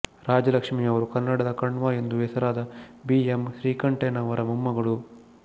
ರಾಜಲಕ್ಷ್ಮಿಯವರು ಕನ್ನಡದ ಕಣ್ವ ಎಂದು ಹೆಸರಾದ ಬಿ ಎಮ್ ಶ್ರೀಕಂಠಯ್ಯನವರ ಮೊಮ್ಮಗಳು